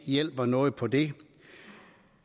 hjælper noget på det